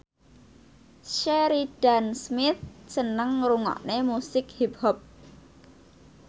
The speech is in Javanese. Sheridan Smith seneng ngrungokne musik hip hop